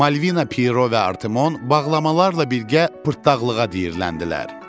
Malvina, Piero və Artemon bağlamalarla birgə pırtdaxlığa diriləndilər.